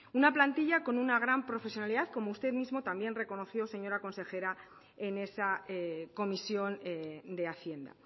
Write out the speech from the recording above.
una plantilla con una gran profesionalidad como usted mismo también reconoció señora consejera en esa comisión de hacienda